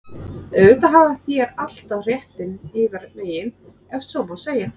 Auðvitað hafið þér alltaf réttinn yðar megin,- ef svo má segja.